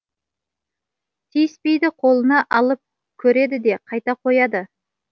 тиіспейді қолына алып көреді де қайта қояды